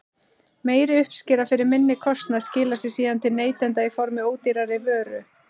Meiri uppskera fyrir minni kostnað skilar sér síðan til neytenda í formi ódýrari vöru.